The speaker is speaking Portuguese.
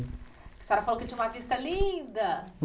A senhora falou que tinha uma vista linda.